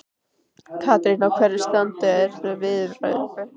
Katrín, á hverju stranda þessar viðræður?